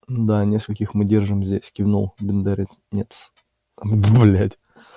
да нескольких мы держим здесь кивнул бедренец